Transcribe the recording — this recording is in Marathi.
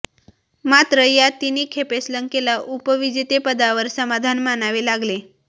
मात्र या तिन्ही खेपेस लंकेला उपविजेतेपदावर समाधान मानावे लागले